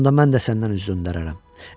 Onda mən də səndən üz döndərərəm.